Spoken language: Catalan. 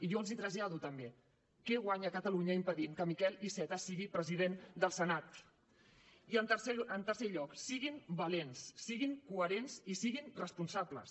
i jo els hi trasllado també què guanya catalunya impedint que miquel iceta sigui president del senat i en tercer lloc siguin valents siguin coherents i siguin responsables